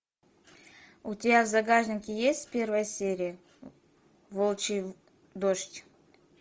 у тебя в загашнике есть первая серия волчий дождь